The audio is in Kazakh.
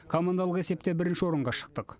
командалық есепте бірінші орынға шықтық